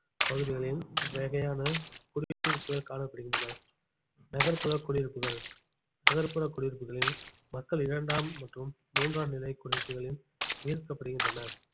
பகுதிகளில் இவ்வகையான குடியிருப்புகள் காணப்படுகின்றன நகர்ப்புற குடியிருப்புகள் நகர்ப்புற குடியிருப்புகளில் மக்கள் இரண்டாம் மற்றும் மூன்றாம் நிலைக் குடியிருப்புகளில் ஈர்க்கப்படுகின்றன